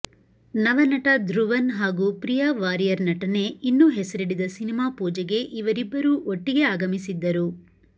ನವ ನಟ ಧ್ರುವನ್ ಹಾಗೂ ಪ್ರಿಯಾ ವಾರಿಯರ್ ನಟನೆ ಇನ್ನೂ ಹೆಸರಿಡದ ಸಿನಿಮಾ ಪೂಜೆಗೆ ಇವರಿಬ್ಬರೂ ಒಟ್ಟಿಗೆ ಆಗಮಿಸಿದ್ದರು